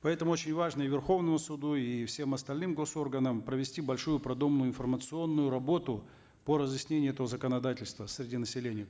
поэтому очень важно и верховному суду и всем остальным госорганам провести большую продуманную информационную работу по разъяснению этого законодательства среди населения